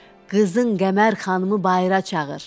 Qızın Qəmər xanımı bayıra çağır.